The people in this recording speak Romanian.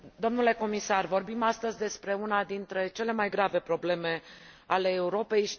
Domnule comisar, vorbim astăzi despre una dintre cele mai grave probleme ale Europei.